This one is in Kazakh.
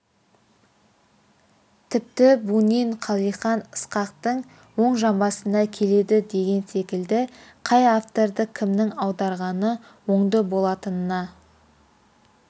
тіпті бунин қалихан ысқақтың оң жамбасына келеді деген секілді қай авторды кімнің аударғаны оңды болатынына